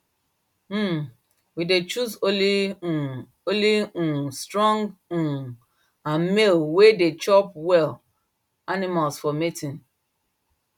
um we dey choose only um only um strong um and male way dey chop well animals for mating